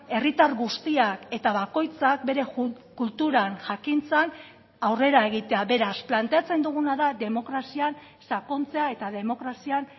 herritar guztiak eta bakoitzak bere kulturan jakintzan aurrera egitea beraz planteatzen duguna da demokrazian sakontzea eta demokrazian